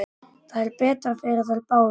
Það er betra fyrir þær báðar.